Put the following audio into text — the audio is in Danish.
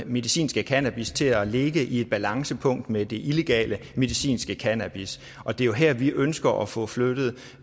medicinske cannabis til at ligge i et balancepunkt med det illegale medicinske cannabis og det er jo her vi ønsker at få flyttet